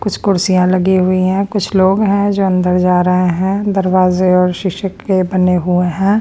कुछ कुर्सियाँ लगी हुई हैं कुछ लोग हैं जो अंदर जा रहे हैं दरवाजे और शीशे के बने हुए हैं।